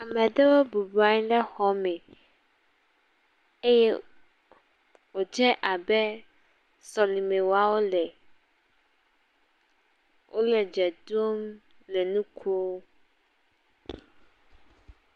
Ame ɖewo bɔbɔ nɔ anyi ɖe xɔ me eye wòdze abe sɔlime wɔa wole, wole dze ɖom le nu kom.